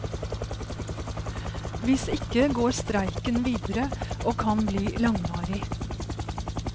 Hvis ikke går streiken videre og kan bli langvarig.